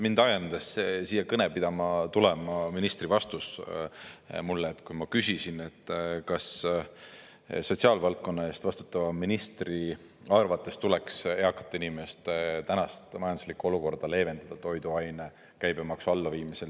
Mind ajendas siia kõnet pidama tulema ministri vastus mulle, kui ma küsisin, kas sotsiaalvaldkonna eest vastutava ministri arvates tuleks eakate inimeste tänast majanduslikku olukorda leevendada toiduainete käibemaksu allaviimisel.